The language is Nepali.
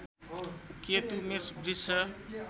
केतु मेष वृष